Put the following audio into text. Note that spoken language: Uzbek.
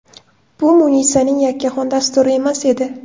Bu Munisaning yakkaxon dasturi emas edi.